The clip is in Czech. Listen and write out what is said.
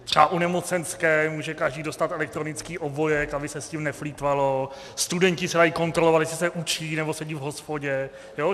Třeba u nemocenské může každý dostat elektronický obojek, aby se s tím neplýtvalo, studenti se dají kontrolovat, jestli se učí, nebo sedí v hospodě.